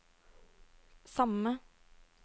samme